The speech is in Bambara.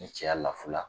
Ni cɛya lafula